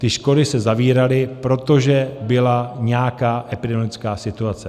Ty školy se zavíraly, protože byla nějaká epidemiologická situace.